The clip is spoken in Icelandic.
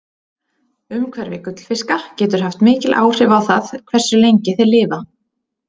Umhverfi gullfiska getur haft mikil áhrif á það hversu lengi þeir lifa.